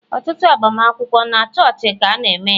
Ọtụtụ agbamakwụkwọ, na chọọchị ka ana -eme ya.